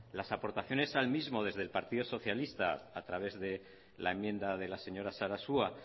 las aportaciones al mismo desde el partido socialista a través de la enmienda de la señora sarasua